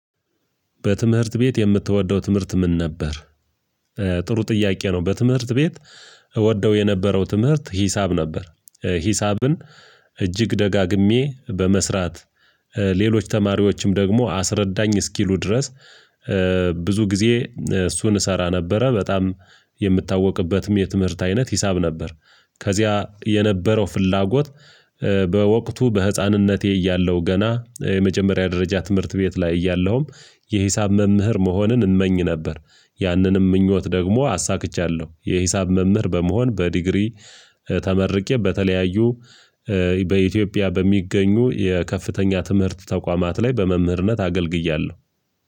በትምህርት ቤት የምትወደው ትምህርት ምን ነበር? ጥሩ ጥያቄ ነው በትምህርት ቤት እወደው የነበረው ትምህርት ሂሳብ ነበር ሂሳብን እጅግ ደጋግሜ በመስራት ሌሎች ተማሪዎችም ደግሞ አስረዳኝ እስኪሉ ድረስ። ብዙ ጊዜ እሱን እሰራ ነበረ በጣም የምታወቅበትም የትምህርት አይነት ሂሳብ ነበር። ከዚያ የነበረው ፍላጎት በወቅቱ በህፃንነቴ እያለሁ ገና የመጀመሪያ ደረጃ ትምህርት ቤት ላይ እያለሁም የሂሳብ መምህር መሆንን እመኝ ነበር። ያንንም ምኞት ደግሞ አሳክቻለሁ የሂሳብ መምህር በመሆን በዲግሪ። ተመርቄ በተለያዩ በኢትዮጵያ በሚገኙ የከፍተኛ ትምህርት ተቋማት ላይ በመምህርነት አገልግያለሁ።